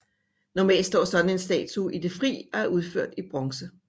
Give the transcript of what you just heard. Normalt står sådan en statue i det fri og er udført i bronze